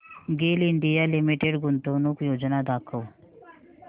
गेल India limited गुंतवणूक योजना दाखव